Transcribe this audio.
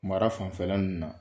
Mara fanfɛlan ninnu na.